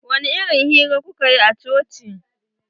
Wani irin hira kuka yi a coci?